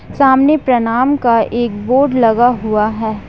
सामने प्रणाम का एक बोर्ड लगा हुआ है।